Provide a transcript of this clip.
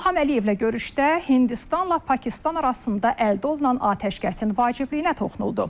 İlham Əliyevlə görüşdə Hindistanla Pakistan arasında əldə olunan atəşkəsin vacibliyinə toxunuldu.